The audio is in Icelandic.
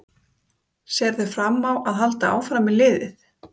Sérðu fram á að halda áfram með liðið?